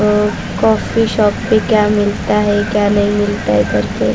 Coffee shop पे क्या मिलता है क्या नहीं मिलता है करके।